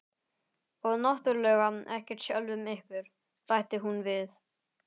Og náttúrlega ekkert sjálfum ykkur, bætti hún við.